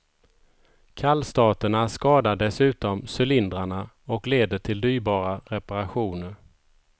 Kallstarterna skadar dessutom cylindrarna och leder till dyrbara reparationer.